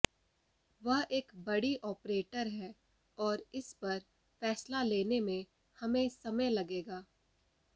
वह एक बड़ी ऑपरेटर है और इस पर फैसला लेने में हमें समय लगेगा